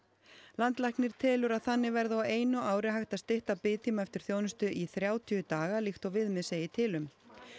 landlæknir telur að þannig verði á einu ári hægt að stytta biðtíma eftir þjónustu í þrjátíu daga líkt og viðmið segi til um